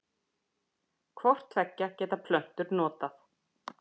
Hvort tveggja geta plöntur notað.